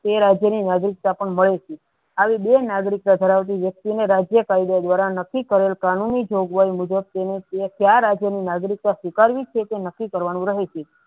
એ રાજ્યની નાગરિકતા પણ મળી આવી બે નાગરિકતા ધરાવતી વ્યક્તિને રાજ્યની કાર્ય દ્વારા નકી કરેલ કાંણુનું જોગવાય મુજબ તેને ક્યાં રાજ્યની નાગરિકતા ઉકાળવી છે કે નહિ તે નક્કી કરવાનું રહેશે.